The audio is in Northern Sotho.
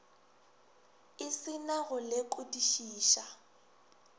e se na go lekodišiša